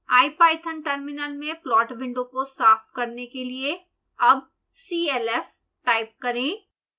ipython terminal में plot window को साफ करने के लिए अब clf टाइप करें